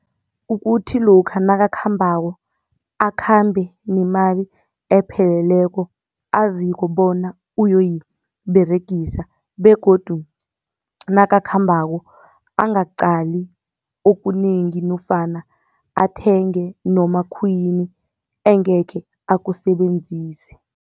Ukuthi lokha nakakhambako, akhambe nemali epheleleko aziko bona uyoyiberegisa. Begodu nakakhambako angaqali okunengi nofana athenge noma khuyini engekhe akusebenzise.